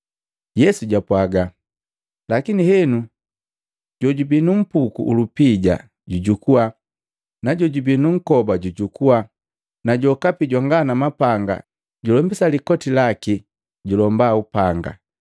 Yesu japwaaga, “Lakini henu jojubii nu mpuku ulupija jujukua na jojubii nunkoba jujukua, na jokapi jwanga nu mpanga, julombisa likoti laki julomba upanga.